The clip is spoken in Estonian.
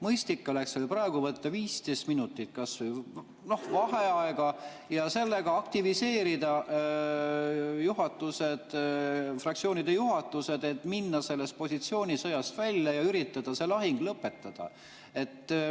Mõistlik oleks teil praegu võtta kas või 15 minutit vaheaega ja sellega aktiviseerida fraktsioonide juhatused, et tulla sellest positsioonisõjast välja ja üritada see lahing lõpetada.